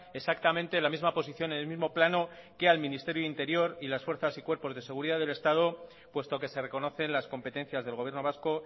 exactamente la misma posición en el mismo plano que al ministerio de interior y las fuerzas y cuerpos de seguridad del estado puesto que se reconocen las competencias del gobierno vasco